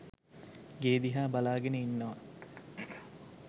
ගේ දිහා බලාගෙන ඉන්නවා.